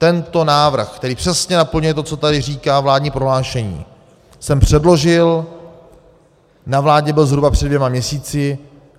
Tento návrh, který přesně naplňuje to, co tady říká vládní prohlášení, jsem předložil - na vládě byl zhruba před dvěma měsíci.